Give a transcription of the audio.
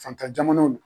Fantan jamanaw